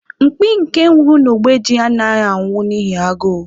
Mkpi nke nwuru n'ogbe ji anaghị anwụ n'ihi agụụ.